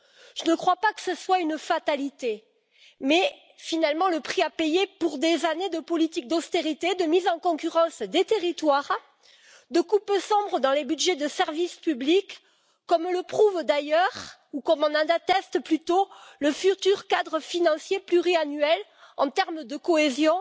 Je ne crois pas que ce soit une fatalité mais c'est, finalement, le prix à payer pour des années de politique d'austérité, de mise en concurrence des territoires, de coupes sombres dans les budgets des services publics comme le prouve d'ailleurs, ou comme en atteste plutôt, le futur cadre financier pluriannuel en matière de cohésion